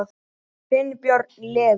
Þinn, Björn Leví.